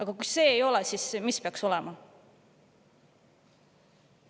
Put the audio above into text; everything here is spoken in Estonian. No kui see ei ole, siis mis peaks olema?